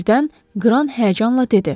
Birdən Qran həyəcanla dedi.